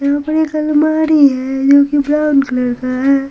यहाँ पर एक अलमारी है जो की ब्राउन कलर की है।